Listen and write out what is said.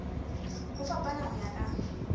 ho fapana ho ya ka